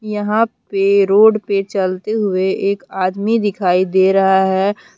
यहां पे रोड पे चलते हुए एक आदमी दिखाई दे रहा है।